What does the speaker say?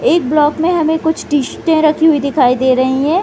एक ब्लॉक में हमें कुछ टी-शर्टें रखी हुई दिखाई दे रही है।